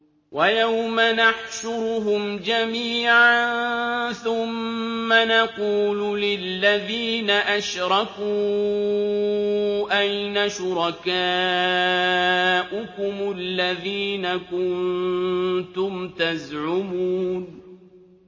وَيَوْمَ نَحْشُرُهُمْ جَمِيعًا ثُمَّ نَقُولُ لِلَّذِينَ أَشْرَكُوا أَيْنَ شُرَكَاؤُكُمُ الَّذِينَ كُنتُمْ تَزْعُمُونَ